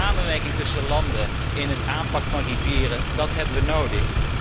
De samenwerking tussen landen in het aanpakken van rivieren hebben we nodig.